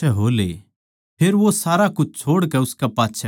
फेर वो सारा कुछ छोड़कै उसकै पाच्छै हो लिया